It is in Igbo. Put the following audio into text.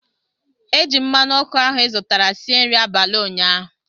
Eji m mmanụ ọkụ ahụ izụtara sie nri abalị ụnyaahụ